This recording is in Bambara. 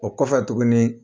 O kɔfɛ tuguni